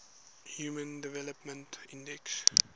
human development index